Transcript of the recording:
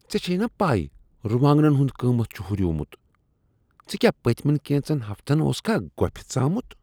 ژےٚ چھیٚے نا پے روانٛگنن ہنٛد قیمت چھ ہریومت؟ ژٕ کیاہ پٔتۍ مین کینٛژن ہفتن اوسکھا گۄپھِ ژامُت؟